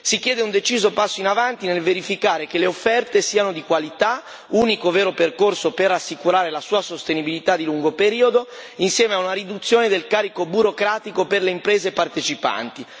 Si chiede un deciso passo in avanti nel verificare che le offerte siano di qualità, unico vero percorso per assicurare la sua sostenibilità di lungo periodo, insieme a una riduzione del carico burocratico per le imprese partecipanti.